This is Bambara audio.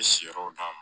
N bɛ si yɔrɔ d'a ma